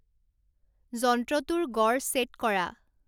যন্ত্ৰটোৰ গড় ছেট কৰা